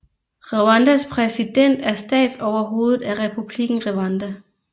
Rwandas præsident er statsoverhovedet af Republikken Rwanda